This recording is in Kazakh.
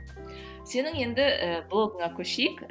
сенің енді ііі блогыңа көшейік